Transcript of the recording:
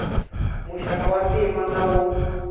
muxaka wa ntima na wo